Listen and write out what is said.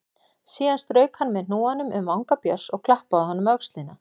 Síðan strauk hann með hnúanum um vanga Björns og klappaði honum á öxlina.